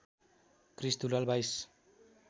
Krrish Dulal २२